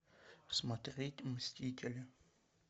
смотреть мстители